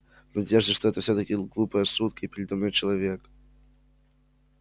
в надежде что это всё-таки глупая шутка и передо мной человек